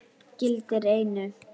gildir einu.